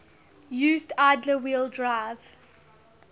used idler wheel drive